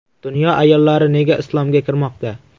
Dunyo ayollari nega islomga kirmoqda?.